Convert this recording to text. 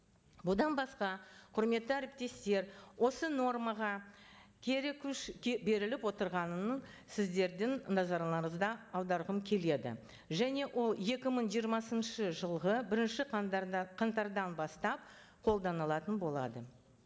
бұдан басқа құрметті әріптестер осы нормаға кері күш беріліп отырғанын сіздердің назарларыңызды аударғым келеді және ол екі мың жиырмасыншы жылғы бірінші қаңтардан бастап қолданылатын болады